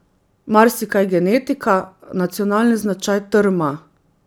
Marsikaj, genetika, nacionalni značaj, trma ...